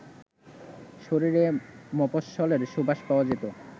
শরীরে মফস্বলের সুবাস পাওয়া যেত